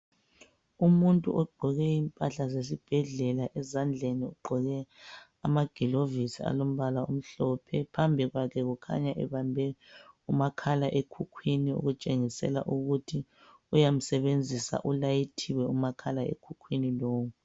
Umuntu ogqoke impahla zesibhedlela, ezandleni ugqoke amagilovisi alombala omhlophe kukhanya ebambe umakhala ekhukhwini okutshengisela ukuthi uyamsebenzisa ulayithile umakhala ekhukhwini lowo.